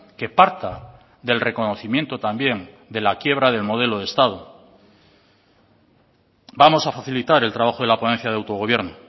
que parta del reconocimiento también de la quiebra del modelo de estado vamos a facilitar el trabajo de la ponencia de autogobierno